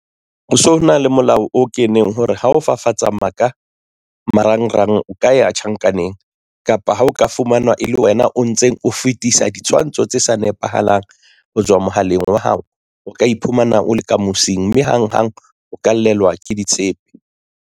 Ho so na le molao o keneng hore ha o fafatsa maka marangrang o ka ya tjhankaneng kapa ha o ka fumana e le wena o ntseng o fetisa ditshwantsho tse sa nepahalang ho tswa mohaleng wa hao. O ka iphumana o le ka mosing mme hang hang o ka llelwa ke ditshepe.